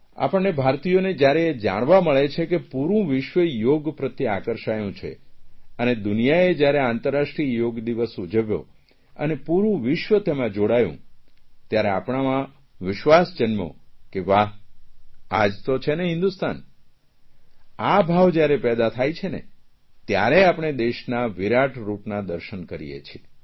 આપણને ભારતીયોને જયારે એ જાણવા મળે છે કે પૂરૂં વિશ્વ યોગ પ્રત્યે આકર્ષાયું છે અને દુનિયાએ જયારે આંતરરાષ્ટ્રીય યોગ દિવસ ઉજવ્યો અને પૂરૂં વિશ્વ તેમાં જોડાયું ત્યારે આપણામાં વિશ્વાસ જન્મ્યો કે વાહ આ જ તો છે ને હિંદુસ્તાન આ ભાવ જયારે પેદા થાય છે ને ત્યારે આપણે દેશના વિરાટરૂપના દર્શન કરીએ છીએ